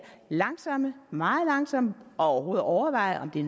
langsomme meget langsomme og overvejer om det